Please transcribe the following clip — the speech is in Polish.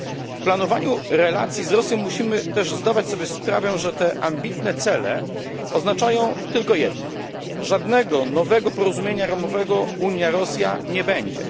W planowaniu relacji z Rosją musimy też zdawać sobie sprawę, że te ambitne cele oznaczają tylko jedno żadnego nowego porozumienia ramowego Unia Rosja nie będzie.